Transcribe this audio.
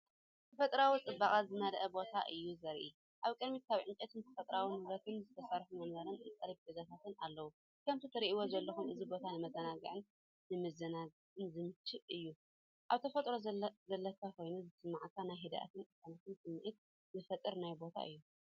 ተፈጥሮኣዊ ጽባቐ ዝመልአ ቦታ እዩ ዘርኢ። ኣብ ቅድሚት ካብ ዕንጨይትን ተፈጥሮኣዊ ንብረትን ዝተሰርሑ መንበርን ጠረጴዛታትን ኣለዉ፣ ከምቲ ትርእይዎ ዘለኹም እዚ ቦታ ንመዘናግዕን ንመዘናግዕን ዝምችእ እዩ። ኣብ ተፈጥሮ ዘለኻ ኮይኑ ዝስምዓካ ናይ ህድኣትን ቅሳነትን ስምዒት ዝፈጥር ናይ ቦታ እዩ።